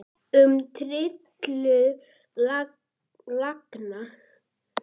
Um tilurð laganna